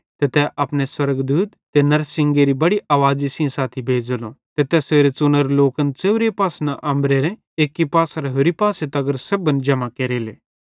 ते तै अपने स्वर्गदूत ते नड़शिंगेरी बड़ी आवाज़ी सेइं साथी भेज़ेलो ते तैसेरे च़ुनोरे लोकन च़ेव्रे पासन अम्बरेरे एक्की पासेरां होरि पासे तगर सेब्भन जम्हां केरेले